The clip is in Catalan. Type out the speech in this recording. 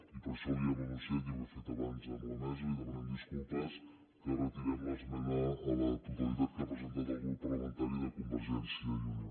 i per això li hem anunciat ja ho he fet abans amb la mesa li demanem disculpes que retirem l’esmena a la totalitat que ha presentat el grup parlamentari de convergència i unió